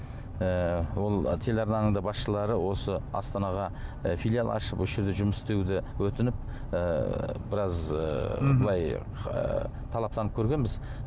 ііі ол телеарнаның да басшылары осы астанаға і филиал ашып осы жерде жұмыс істеуді өтініп і біраз ііі былай талаптанып көргенбіз